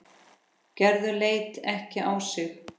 Gerður leit ekki á sitt.